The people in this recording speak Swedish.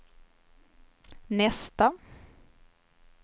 nästa